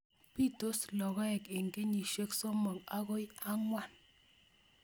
Pitos logoek eng kenyishek somok agoi angwan